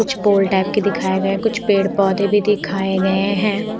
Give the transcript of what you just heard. कुछ pole type के दिखाए गए कुछ पेड़ पौधे भी दिखाए गए हैं।